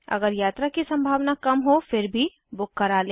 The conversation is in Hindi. अगर यात्रा की सम्भावना कम हो फिर भी बुक करा लें